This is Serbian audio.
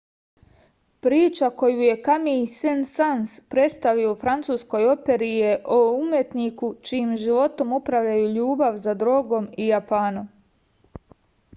priča koju je kamij sen-sans predstavio u francuskoj operi je o umetniku čijim životom upravljaju ljubav za drogom i japanom